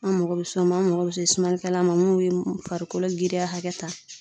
An mako be s'o ma, an mako be se sumanikɛla ma mun be farikolo giriya hakɛ ta.